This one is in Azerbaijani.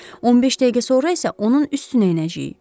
15 dəqiqə sonra isə onun üstünə enəcəyik.